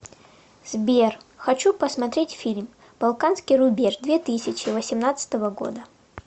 сбер хочу посмотреть фильм балканский рубеж две тысячи восемнадцатого года